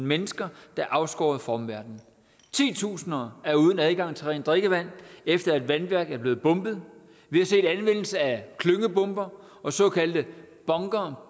mennesker der er afskåret fra omverdenen titusinder er uden adgang til rent drikkevand efter at et vandværk er blevet bombet vi har set anvendelse af klyngebomber og såkaldte bunker